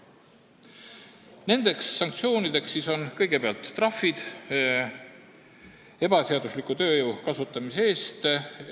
Nendeks sanktsioonideks on kõigepealt trahvid ebaseadusliku tööjõu kasutamise eest.